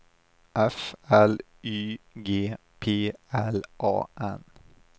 F L Y G P L A N